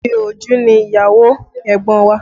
Òròjú ni ìyàwó ẹ̀gbọ́n wa